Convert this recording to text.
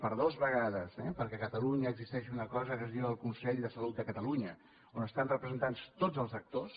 per dues vegades eh perquè a catalunya existeix una cosa que es diu el consell de salut de catalunya on estan representats tots els actors